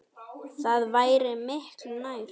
Það væri miklu nær.